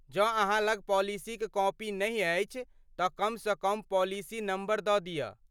जँ अहाँ लग पॉलिसीक कॉपी नहि अछि तँ कमसँ कम पॉलिसी नम्बर दऽ दिअ।